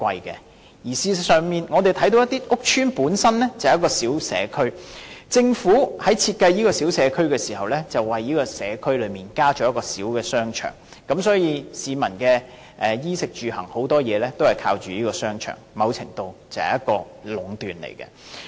事實上，我們看到有些屋邨本身是一個小社區，政府在設計這個小社區時為社區增設一個小商場，所以市民的衣、食、住、行等大部分也依靠這個商場，某程度已是一種壟斷。